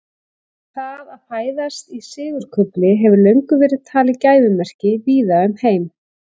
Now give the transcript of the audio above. Það að fæðast í sigurkufli hefur löngum verið talið gæfumerki víða um heim.